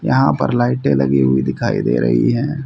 यहां पर लाइटें लगी हुईं दिखाई दे रही हैं।